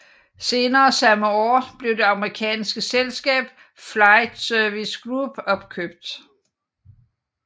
Senere samme år blev det amerikanske selskab Flight Services Group opkøbt